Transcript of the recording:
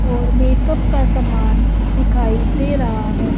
और मेकअप का सामान दिखाई दे रहा है।